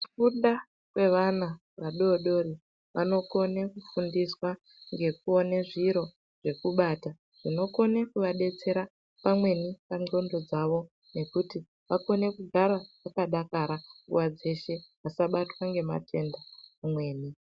Kufunda kwevana adodori vanokone kufundiswa ngekuone zviro zvekubata zvinokone kuvabetsera pamweni nendxondo dzavo ngekuti vagone kugara vakadakara nguva dzeshe vasabatwa vasabatwa ngematenda pamweni.